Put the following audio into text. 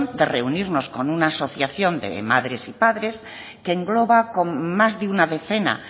de reunirnos con una asociación de madres y padres que engloba con más de una decena